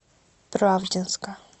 правдинска